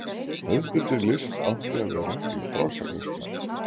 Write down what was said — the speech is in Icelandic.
Hefðbundin list átti að vera í frásagnarstíl.